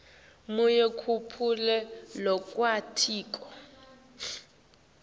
munye kuphela lowatiko